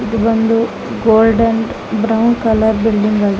ಇದು ಬಂದು golden brown colour building ಆಗಿ --